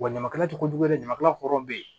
Wa ɲamakala tɛ kojugu dɛ ɲamakalaw hɔrɔn bɛ yen